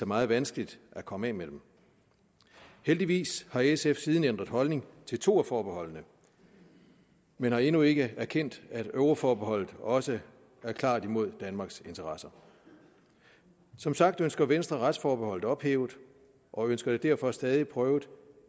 meget vanskeligt at komme af med dem heldigvis har sf siden ændret holdning til to af forbeholdene men har endnu ikke erkendt at euroforbeholdet også er klart imod danmarks interesser som sagt ønsker venstre retsforbeholdet ophævet og ønsker det derfor stadig prøvet